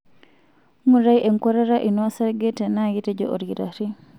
Ngurai enkuatata ino osarge tenaa ketejo olkitari.